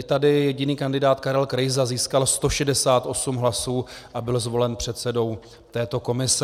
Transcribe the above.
I tady jediný kandidát Karel Krejza získal 168 hlasů a byl zvolen předsedou této komise.